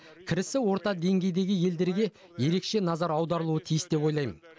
кірісі орта деңгейдегі елдерге ерекше назар аударылуы тиіс деп ойлаймын